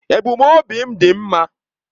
Ebumnobi m dị mma.